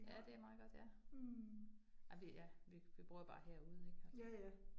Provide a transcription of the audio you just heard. Ja, det meget godt ja. Ja, vi ja, vi vi bruger bare herude ik altså